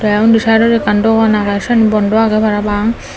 te undi saidodi ekkan dogan agey siyeno bondow agey parapang.